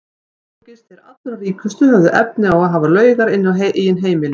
Einungis þeir allra ríkustu höfðu efni á að hafa laugar inni á eigin heimili.